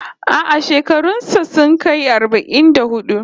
A'a, shekarun sa sun kai arba'in da hudu